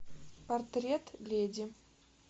портрет леди